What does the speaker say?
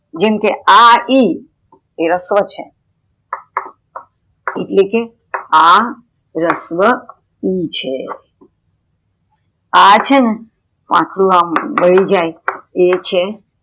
જેમકે આ ઈ, આ રસ્વ છે એટલેકે આ રસ્વ ઉ છે અ છેને આટલું વળી જાય એ છે